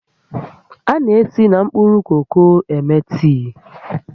A na-esi na mkpụrụ koko eme tii